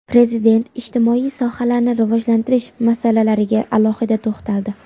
Prezident ijtimoiy sohalarni rivojlantirish masalalariga alohida to‘xtaldi.